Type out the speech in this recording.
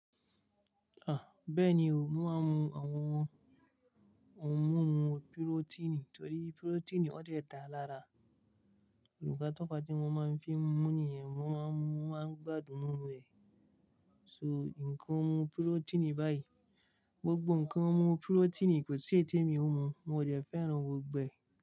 Bẹ́ẹ̀ni o, mo máa ń mu àwọn ohun mímu pírótínì torí pírótínì ó de dà lára, olùkọ́ tó pa tí wọ́n máa ń fi mú níyẹn wọ́n máa ń mú àgbàdo mú rẹ̀. So, ǹkan mú pírótínì báyìí, gbogbo ǹkan mú pírótínì kò sì ń tẹ́ mi ọmú, mo dẹ̀ fẹ́ràn gbọ̀ gbẹ̀